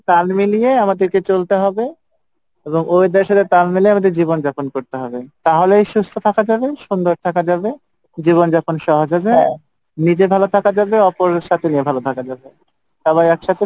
তাল মিলিয়ে আমাদেরকে চলতে হবে এবং weather এর সাথে তাল মিলায়ে আমাদের জীবন যাপন করতে হবে, তাহলেই সুস্থ থাকা যাবে সুন্দর থাকা যাবে জীবন যাপন সহজ হবে , নিজে ভালো থাকা যাবে অপরের সাথে নিয়ে ভালো থাকা যাবে, সবাই একসাথে